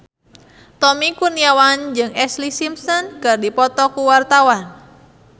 Tommy Kurniawan jeung Ashlee Simpson keur dipoto ku wartawan